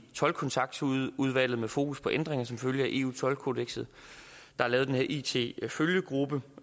toldkontaktudvalget med fokus på ændringer som følge af eu toldkodekset der er lavet den her it følgegruppe